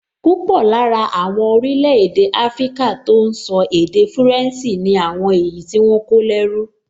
Púpọ̀ lára àwọn orílẹ̀-èdè áfríkà tó n sọ èdè fúrẹ̀nsì ni àwọn èyí tí wọ́n kó lẹ́rú